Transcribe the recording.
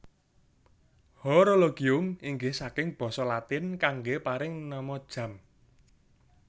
Horologium inggih saking basa Latin kanggé paring nama jam